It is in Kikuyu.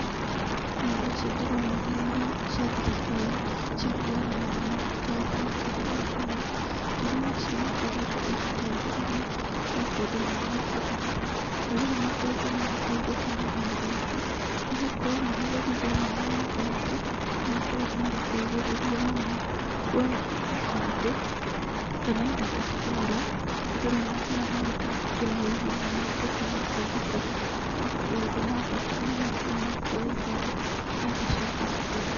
Nyũmba ici ndĩrona nĩ iria cia thirikari cia kũoera marũa ma thirikari Huduma. Huduma ici nĩikoretwo igĩteithĩrĩria andũ thĩinĩ wa bũrũri. Andũ nĩmakoretwo magĩteithĩka na nyũmba ici nĩgũkorwo marĩ gũthiĩ thĩinĩ wa nyũmba ici, nĩ makoragwo magĩteithĩrĩrio mũno kũoya ibande kana indo ta kura. Andũ nĩmathiaga na magatangĩkĩrwo na ihenya na magatuĩka a gũteithĩka. Maũndũ ma bata nĩ macio ma kũoya ibandĩ na indo cia thirikari.